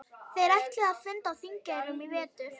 Þeir ætluðu að funda á Þingeyrum í vetur.